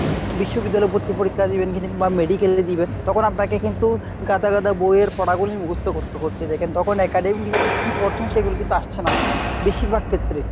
বিশ্ববিদ্যালয় এ ভর্তির পরীক্ষা দিবেন বা medical এ দিবেন তখন আপনাকে কিন্তু গাদা গাদা বইয়ের পড়াগুলোই মুখস্ত করতে হচ্ছে। দ্যাখেন তখন academic কী পড়ছেন সেগুলো কিন্তু আসছে না বেশিরভাগ ক্ষেত্রে।